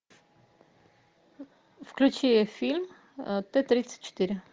включи фильм т тридцать четыре